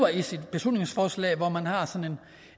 her ser jeg det som